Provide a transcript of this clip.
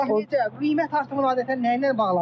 Bəs qiymət artımı adətən nə ilə bağlıdır?